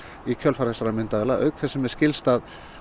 í kjölfar þessara myndavéla auk þess sem